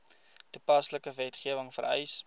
toepaslike wetgewing vereis